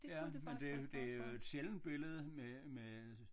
Ja men det det jo et sjældent billede med med øh